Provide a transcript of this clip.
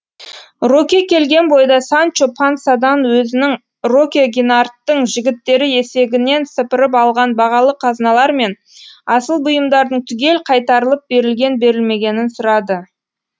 роке келген бойда санчо пансадан өзінің роке гинарттың жігіттері есегінен сыпырып алған бағалы қазыналар мен асыл бұйымдардың түгел қайтарылып берілген берілмегенін сұрады